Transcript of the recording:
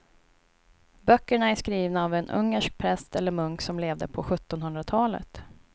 Böckerna är skrivna av en ungersk präst eller munk som levde på sjuttonhundratalet.